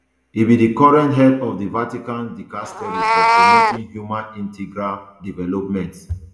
e be di current head of di vaticans dicastery for promoting human integral development